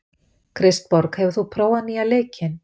Kristborg, hefur þú prófað nýja leikinn?